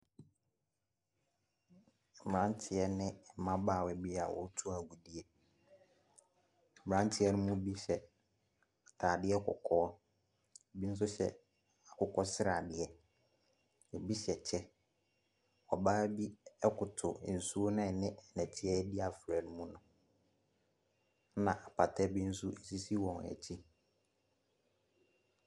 Mmeranteɛ ne mmabaawa bi a wɔretu agudie, mmeranteɛ ne bi hyɛ ataadeɛ kɔkɔɔ, bi nso hyɛ akokɔsradeɛ, bi hyɛ kyɛ. Ɔbaa bi koto nsuo no a ɛne nnɛteɛ adi afora ne mu. Na apats bi nso sisi wɔn akyi.